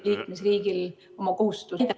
... liikmesriigil oma kohustusi ...